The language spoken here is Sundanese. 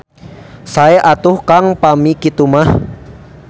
Sae atuh Kang pami kitu mah.